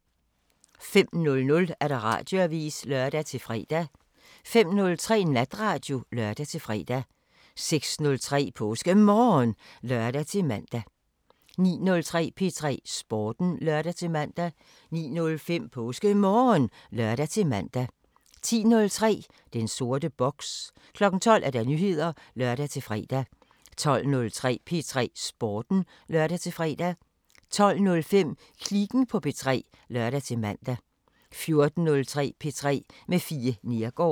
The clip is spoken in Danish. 05:00: Radioavisen (lør-fre) 05:03: Natradio (lør-fre) 06:03: PåskeMorgen (lør-man) 09:03: P3 Sporten (lør-man) 09:05: PåskeMorgen (lør-man) 10:03: Den sorte boks 12:00: Nyheder (lør-fre) 12:03: P3 Sporten (lør-fre) 12:05: Kliken på P3 (lør-man) 14:03: P3 med Fie Neergaard